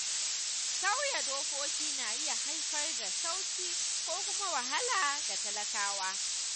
Sauya dokoki na iya haifar da sauƙi ko kuma wahala ga talakawa.